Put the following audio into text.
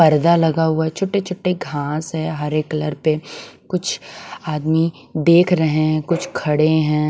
पर्दा लगा हुआ है छोटे-छोटे घास है हरे कलर के कुछ आदमी देख रहे हैं कुछ खड़े हैं।